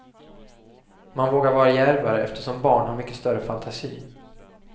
Man vågar vara djärvare eftersom barn har mycket större fantasi.